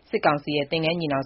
စစ်ကောင်စီရဲ့ သင်္ဃန်းညီနောင်